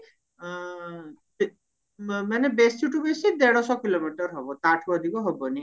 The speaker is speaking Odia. ଆଁ ମାନେ ବେଶିଠୁ ବେଶି ଦେଢଶହ kilometer ହବ ତାଠୁ ଅଧିକା ହବନି